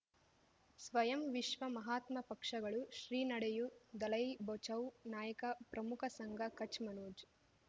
ಸ್ವಯಂ ವಿಶ್ವ ಮಹಾತ್ಮ ಪಕ್ಷಗಳು ಶ್ರೀ ನಡೆಯೂ ದಲೈ ಬಚೌ ನಾಯಕ ಪ್ರಮುಖ ಸಂಘ ಕಚ್ ಮನೋಜ್